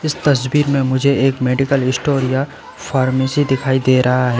इस तस्वीर में मुझे एक मेडिकल स्टोर या फार्मेसी दिखाई दे रहा है।